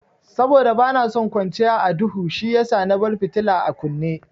Saboda bana son kwanciya a duhu shiyasa na bar fitila a kunne.